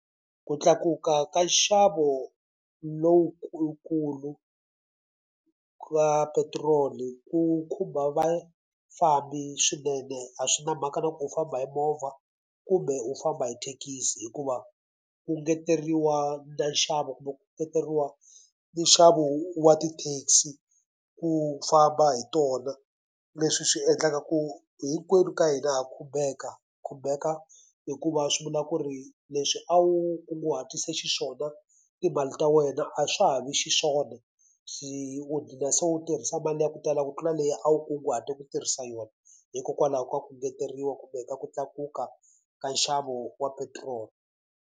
Ku tlakuka ka nxavo lokukulu ka petiroli ku khumba vafambi swinene a swi na mhaka na ku u famba hi movha kumbe u famba hi thekisi. Hikuva ku engeteriwa na nxavo kumbe ku engeteriwa ni nxavo wa ti taxi ku famba hi tona leswi swi endlaka ku hinkwenu ka hina ha khumbeka. Khumbeka hikuva swi vula ku ri leswi a wu kunguhatise xiswona timali ta wena a swa ha vi xiswona, se u ghina se u tirhisa mali ya ku tala ku tlula leyi a wu kunguhate ku tirhisa yona hikokwalaho ka ku engeteriwa kumbe ka ku tlakuka ka nxavo wa petiroli.